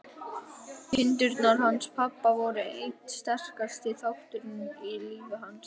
Kindurnar hans pabba voru einn sterkasti þátturinn í lífi hans.